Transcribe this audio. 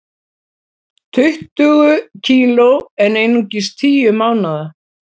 Tuttugu kg en einungis tíu mánaða